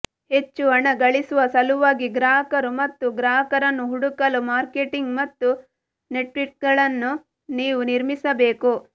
ಹೆಚ್ಚು ಹಣ ಗಳಿಸುವ ಸಲುವಾಗಿ ಗ್ರಾಹಕರು ಮತ್ತು ಗ್ರಾಹಕರನ್ನು ಹುಡುಕಲು ಮಾರ್ಕೆಟಿಂಗ್ ಮತ್ತು ನೆಟ್ವರ್ಕಿಂಗ್ಗಳನ್ನು ನೀವು ನಿರ್ಮಿಸಬೇಕು